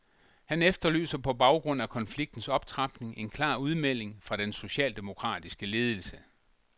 Han efterlyser på baggrund af konfliktens optrapning en klar udmelding fra den socialdemokratiske ledelse.